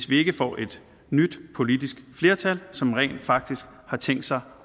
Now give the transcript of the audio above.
vi får et nyt politisk flertal som rent faktisk har tænkt sig